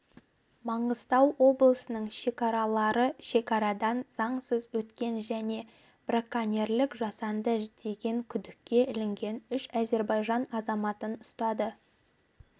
маңғыстау облысының шекаралары шекарадан заңсыз өткен және браконьерлік жасады деген күдікке ілінген үш әзербайжан азаматын ұстады